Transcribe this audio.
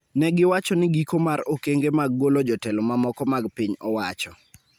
Ne giwacho ni giko mar okenge mag golo jotelo mamoko mag piny owacho